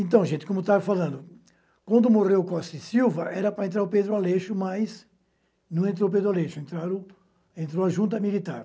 Então, gente, como eu estava falando, quando morreu Costa e Silva, era para entrar o Pedro Aleixo, mas não entrou o Pedro Aleixo, entraram... entrou a junta militar.